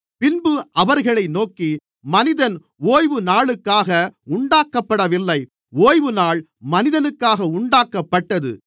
பின்பு அவர்களை நோக்கி மனிதன் ஓய்வுநாளுக்காக உண்டாக்கப்படவில்லை ஓய்வுநாள் மனிதனுக்காக உண்டாக்கப்பட்டது